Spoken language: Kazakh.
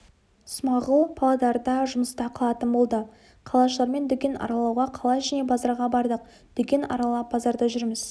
смағұл павлодарда жұмыста қалатын болды қалашылармен дүкен аралауға қала ішіне базарға бардық дүкен аралап базарда жүрміз